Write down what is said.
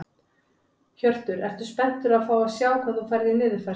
Hjörtur: Ertu spenntur að fá að sjá hvað þú færð í niðurfærslu?